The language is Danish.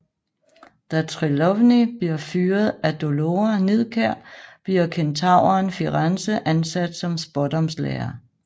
Da Trelawney bliver fyret af Dolora Nidkjær bliver kentauren Firenze ansat som Spådomslærer